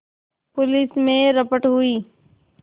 police में रपट हुई